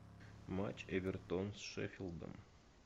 матч эвертон с шеффилдом